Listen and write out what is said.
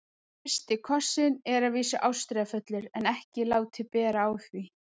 FYRSTI KOSSINN er að vísu ástríðufullur en ekki látið bera á því.